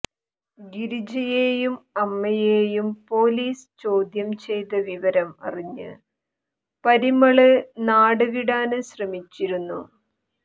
ഗിരിജയേയും അമ്മയേയും പോലീസ് ചോദ്യം ചെയ്ത വിവരം അറിഞ്ഞ് പരിമള് നാട് വിടാന് ശ്രമിച്ചിരുന്നു